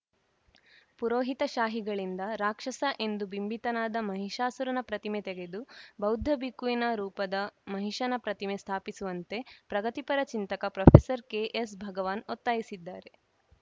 ಪುರೋಹಿತಶಾಹಿಗಳಿಂದ ರಾಕ್ಷಸ ಎಂದು ಬಿಂಬಿತನಾದ ಮಹಿಷಾಸುರನ ಪ್ರತಿಮೆ ತೆಗೆದು ಬೌದ್ಧ ಬಿಕ್ಕುವಿನ ರೂಪದ ಮಹಿಷನ ಪ್ರತಿಮೆ ಸ್ಥಾಪಿಸುವಂತೆ ಪ್ರಗತಿಪರ ಚಿಂತಕ ಪ್ರೊಫೆಸರ್ ಕೆಎಸ್‌ಭಗವಾನ್‌ ಒತ್ತಾಯಿಸಿದ್ದಾರೆ